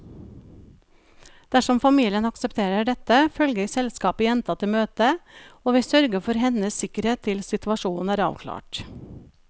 Dersom familien aksepterer dette, følger selskapet jenta til møtet, og vi sørger for hennes sikkerhet til situasjonen er avklart.